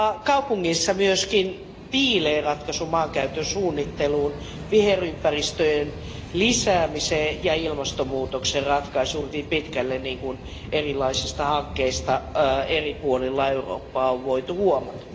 Kaupungeissa myöskin piilee ratkaisu maankäytön suunnitteluun, viherympäristöjen lisäämiseen ja ilmastonmuutoksen ratkaisuun hyvin pitkälle, niin kuin erilaisista hankkeista eri puolilla Eurooppaa on voitu huomata.